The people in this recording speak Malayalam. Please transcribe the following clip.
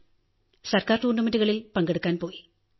ഗവൺമെന്റ് സംഘടിപ്പിച്ച ടൂർണമെന്റുകളിൽ പങ്കെടുക്കാൻ പോയി